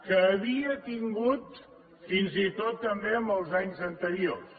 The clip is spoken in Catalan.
que havia tingut fins i tot també en els anys anteriors